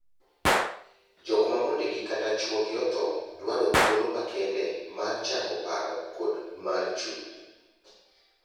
Jok ma mondegi kata chuogi othoo dwaro thuolo makende mar chango paro kod mar chuny.